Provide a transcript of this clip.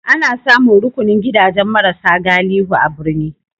Ana samun rukunin gidajen mara sa galihu a birni.